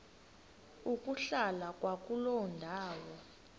ukuhlala kwakuloo ndawo